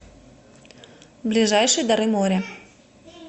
ближайший дары моря